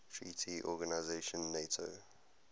treaty organization nato